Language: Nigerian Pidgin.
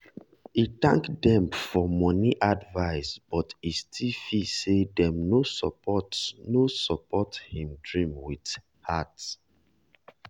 e thank dem for money advice but e still feel say dem no support no support him dream with heart.